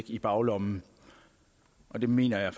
i baglommen og det mener jeg